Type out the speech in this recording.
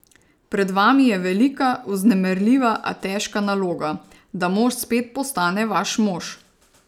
Pred vami je velika, vznemirljiva, a težka naloga, da mož spet postane vaš mož!